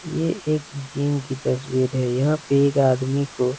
ये एक जिम की तस्वीर है यहाँ पे एक आदमी को --